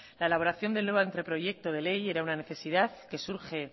la elaboración del nuevo anteproyecto de ley era una necesidad que surge